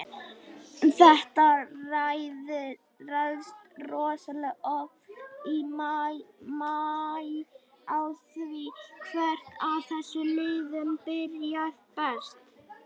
Þetta ræðst rosalega oft í maí á því hvert af þessum liðum byrjar best.